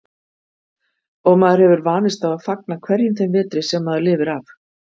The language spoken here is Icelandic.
Og maður hefur vanist á að fagna hverjum þeim vetri sem maður lifir af.